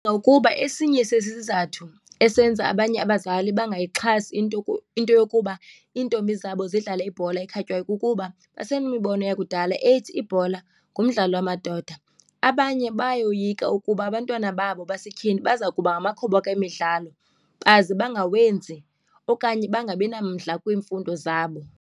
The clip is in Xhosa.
Ukuba esinye sesizathu esenza abanye abazali bayayixhasi into into yokuba iintombi zabo zidlale ibhola ekhatywayo kukuba basenemibono yakudala ethi ibhola ngumdlalo wamadoda. Abanye bayoyika ukuba abantwana babo basetyhini baza kuba ngamakhoboka emidlalo baze bangawenzi okanye bangabi namdla kwiimfundo zabo.